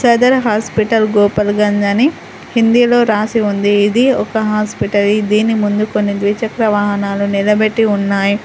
Sadar hospital Gopur Ganj అని హిందీలో రాసి ఉంది ఇది ఒక హాస్పటల్ దీని ముందు కొన్ని ద్విచక్ర వాహనాలు నిలబెట్టి ఉన్నాయి.